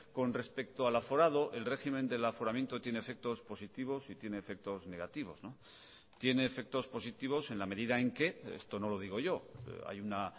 con respecto al aforado el régimen del aforamiento tiene efectos positivos y tiene efectos negativos tiene efectos positivos en la medida en que esto no lo digo yo hay una